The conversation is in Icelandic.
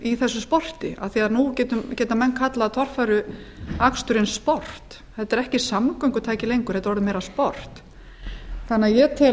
í þessu sporti af því að nú geta menn kallað torfæruaksturinn sport þetta er ekki samgöngutæki lengur þetta er orðið meira sport því tel ég